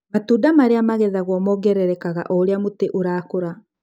Matunda marĩa magethagwo mongererekaga oũrĩa mũtĩ ũrakũra.